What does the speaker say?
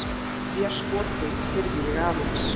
Þriðja skotið heyrði ég aðeins.